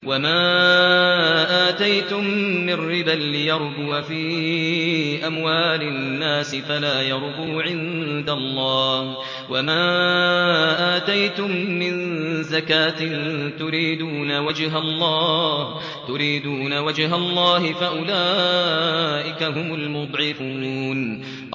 وَمَا آتَيْتُم مِّن رِّبًا لِّيَرْبُوَ فِي أَمْوَالِ النَّاسِ فَلَا يَرْبُو عِندَ اللَّهِ ۖ وَمَا آتَيْتُم مِّن زَكَاةٍ تُرِيدُونَ وَجْهَ اللَّهِ فَأُولَٰئِكَ هُمُ الْمُضْعِفُونَ